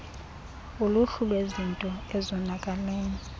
uluhlu lwezinto ezonakeleyo